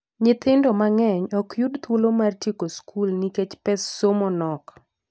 Nyithindo mang'eny ok yud thuolo mar tieko skul nikech pes somo nok.